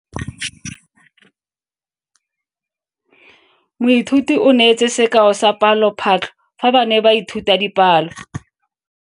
Moithuti o neetse sekao sa palophatlo fa ba ne ba ithuta dipalo.